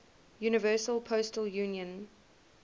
universal postal union